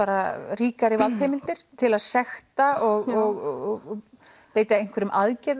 ríkari valdheimildir til að sekta og beita einhverjum aðgerðum